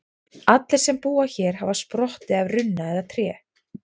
Allir sem búa hér hafa sprottið af runna eða tré.